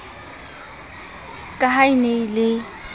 ka ha e ne e